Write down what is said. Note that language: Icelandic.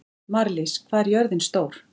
Marlís, hvað er jörðin stór?